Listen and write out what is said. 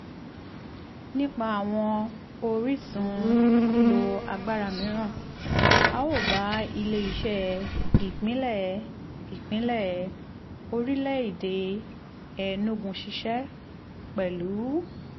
nípa àwọn orísun lílo agbára mìíràn a ó bá ile-iṣẹ ìpínlẹ̀ ìpínlẹ̀ orílẹ̀-èdè enugu ṣiṣẹ́ pẹ̀lú